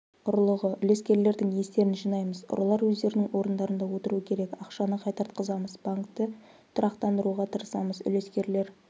ұрлығы үлескерлердің естерін жинаймыз ұрылар өздерінің орындарында отыруы керек ақшаны қайтартқызамыз банкті тұрақтандыруға тырысамыз үлескерлер